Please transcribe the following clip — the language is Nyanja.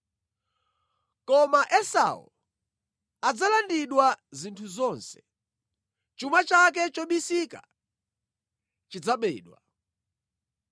Koma Esau adzalandidwa zinthu zonse, chuma chake chobisika chidzabedwa!